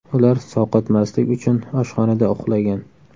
Ular sovqotmaslik uchun oshxonada uxlagan.